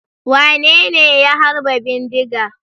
Wane ne ya harba bindiga?